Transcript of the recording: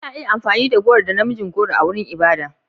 Ana iya amfani da goro da na mijin goro a wurin ibada.